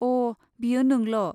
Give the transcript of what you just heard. अ' बेयो नोंल'।